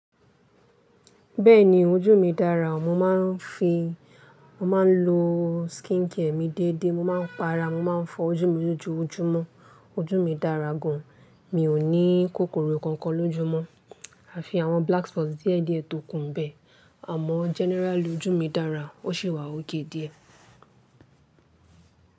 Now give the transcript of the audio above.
Bẹ́ẹ̀ni ojú mi dára o. Mo máa ń fi, mo máa ń lo skincare mi dédé, mo máa ń para, mo máa ń fọ ojú mi lójoojúmọ́. Ojú mi dára gan an, mi ò ní kòkòrò kankan lójú mọ́. A fi àwọn black spots díẹ̀ díẹ̀ tòkun bẹ́ẹ̀, àmọ́ generally ojú mi dára o, ṣe wà ókéré díẹ̀.